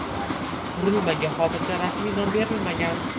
Qurilmaga hozircha rasmiy nom berilmagan.